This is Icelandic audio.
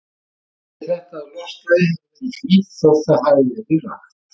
Sýnir þetta, að loftslagið hefur verið hlýtt, þótt það hafi verið rakt.